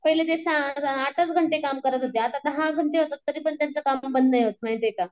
पहिले ते आठच घंटे काम करत होते आता दहा घंटे होतात तरीपण त्यांचं काम बंद नाही होत माहिती का.